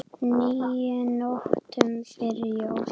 níu nóttum fyrir jól